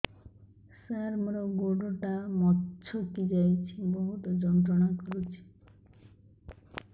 ସାର ମୋର ଗୋଡ ଟା ମଛକି ଯାଇଛି ବହୁତ ଯନ୍ତ୍ରଣା କରୁଛି